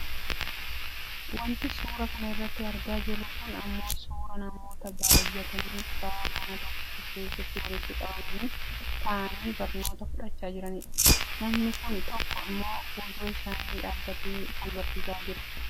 Wanti suuraa kana irratti argaa jirru kun ammoo suuraa namoota baayyatanii kutaa manaa tokko keessatti walitti qabamanii taa'anii barnoota fudhachaa jiranidha. Namni tokko ammoo fuuldura isaanii dhaabbatee kan barsiisaa jirudha.